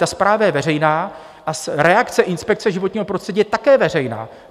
Ta zpráva je veřejná a reakce inspekce životního prostředí je také veřejná.